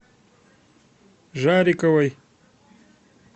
жариковой